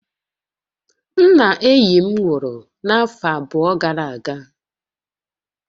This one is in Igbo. Nna enyi m nwuru n'afo abụọ gara aga